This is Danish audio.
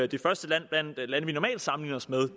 det første land blandt de lande vi normalt sammenligner os med